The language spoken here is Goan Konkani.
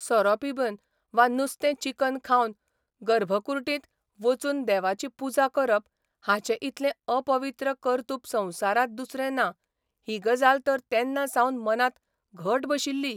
सोरो पिबन वा नुस्तें चिकन खावन गर्भकुर्डीत वचून देवाची पुजा करप हाचें इतलें अपवित्र कर्तुप संवसारांत दुसरें ना ही गजाल तर तेन्नासावन मनांत घट बशिल्ली.